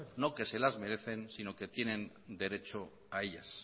no las que se la merecen sino que tienen derecho a ellas